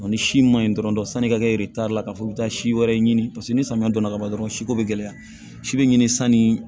Ni si ma ɲi dɔrɔn sanni i ka kɛ la k'a fɔ i bɛ taa si wɛrɛ ɲini paseke ni samiya don na ka ban dɔrɔn si ko bɛ gɛlɛya si be ɲini sanni